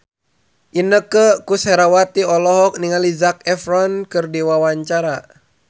Inneke Koesherawati olohok ningali Zac Efron keur diwawancara